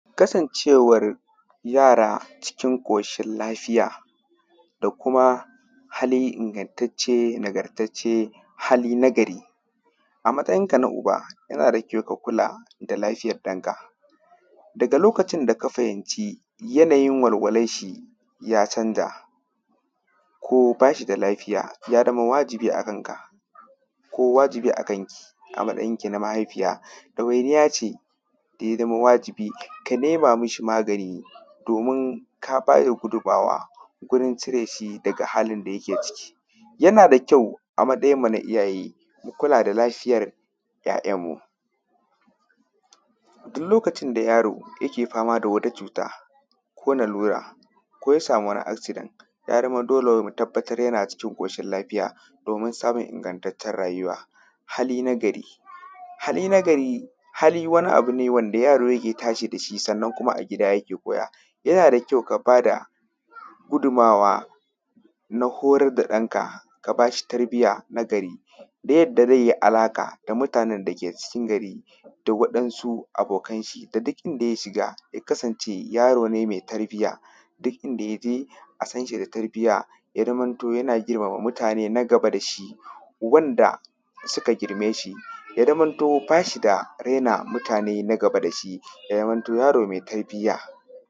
Kasancewar yara cikin koshin lafiya da kuma hali ingantacce nagartacce hali na gari a matsayinka na uba yana da ƙyau ka kula da lafiyar ɗanka da kuma lokacin da fahimci yanayin walwalan shi ya canja ko ba shi da Lafiya ya zama wajibi a kanka ko kuma wajibi a kanki ko mahaifiya dawainiya ce da a zama wajibi ka nema mishi magani domin ka ba da gudunmawa domin cire shi daga halin da yake ciki yana da ƙyau a matsayinmu na iyaye mu kula da lafiyar 'ya'yanmu. Duk lokacin da yaro yake fama da wata cuta ko lalura ko ya samu wani accident ya zama dole mu tabbatar yana cikin ƙoshin lafiya domin samun ingantaccen rayuwa. Hali na gari, hali na gari hali wani abu ne wanda yaro ya tashi da shi sannan kuma a gida yake koya yana da ƙyau ka ba da gudunmawa a na hurar da ɗanka ka ba shi tarbiya na gari ta yadda zai yi alaƙa da mutanen dake cikin garin da wadansu abokan shi da duk inda ya shiga ya kasance yaro ne mai tarbiya ya zamanto yana girmama mutane na gaba da shi wanda suka girme shi ya zamanto ba shi da raina mutane na gaba da shi ya zamanto yaro mai tarbiya.